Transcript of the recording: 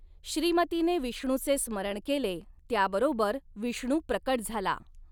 श्रीमतीने विष्णूचे स्मरण केले त्याबरोबर विष्णु प्रकट झाला.